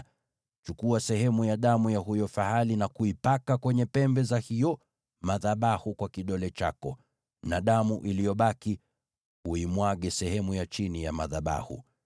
Chukua sehemu ya damu ya huyo fahali na kuipaka kwenye pembe za hayo madhabahu kwa kidole chako, na damu iliyobaki uimwage sehemu ya chini ya madhabahu.